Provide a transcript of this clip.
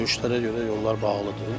Döyüşlərə görə yollar bağlıdır.